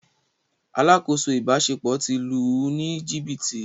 “ Alákòóso ìbáṣepọ̀ ” ti lù ú ní jìbìtì.